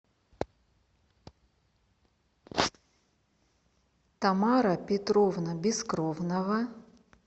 тамара петровна бескровнова